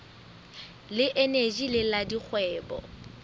le eneji le la dikgwebo